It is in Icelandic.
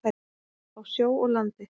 Á sjó og landi.